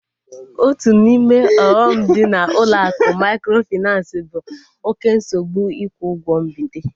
Otu n'ime ọghọm dị na ụlọ akụ mikrofinansi bụ oké nsogbu ikwu ụgwọ mbite